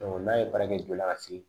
n'a ye baara kɛ joona ka se